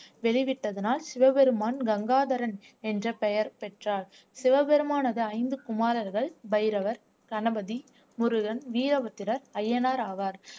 வெளிவிட்டதனால் சிவபெருமான் கங்காதரன் என்ற பெயர் பெற்றார் சிவபெருமானது ஐந்து குமாரர்கள் பைரவர் கணபதி முருகன் வீரபுத்திரர் அய்யனார் ஆவார்